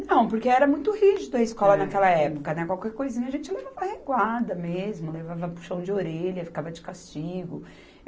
Não, porque era muito rígido a escola naquela época, né, qualquer coisinha a gente levava reguada mesmo, levava puxão de orelha, ficava de castigo.